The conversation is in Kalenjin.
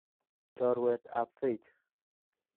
Chorweet ap Faith.